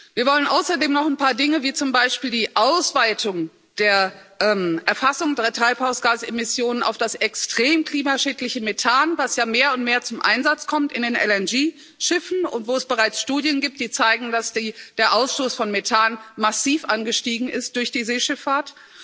Wir wollen außerdem noch ein paar Dinge wie zum Beispiel die Ausweitung der Erfassung der Treibhausgasemissionen auf das extrem klimaschädliche Methan, was ja mehr und mehr zum Einsatz kommt in den LNG Schiffen und wo es bereits Studien gibt, die zeigen, dass der Ausstoß von Methan massiv angestiegen ist durch die Seeschifffahrt.